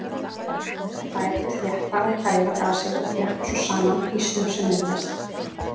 Þær þétta og kæla gasið og þjappa svo saman ísnum sem myndast.